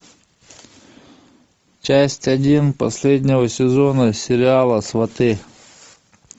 часть один последнего сезона сериала сваты